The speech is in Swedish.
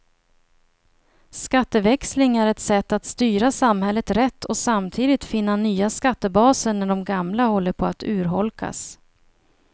Skatteväxling är ett sätt att styra samhället rätt och samtidigt finna nya skattebaser när de gamla håller på att urholkas.